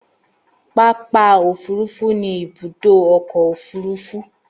Pápà̀ òfurufú ni ibùdó ọkọ̀ òfurufú